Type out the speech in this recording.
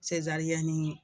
Sezariyɛni